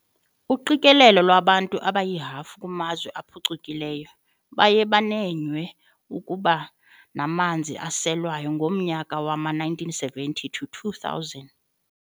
uqikelelo lwabantu abayihafu kumazwe aphucukileyo baye banenywe okuba namanzi aselwayo ngomnyaka wama-1970-2000